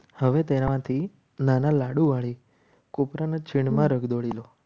હવે તેનાથી નાના લાડુ વાળી કોપરાના છીણમાં રગદોળી